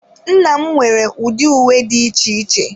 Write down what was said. Nna m nwere ụdị uwe dị iche iche.